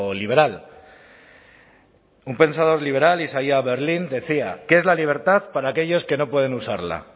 liberal un pensador liberal isaiah berlin decía qué es la libertad para aquellos que no pueden usarla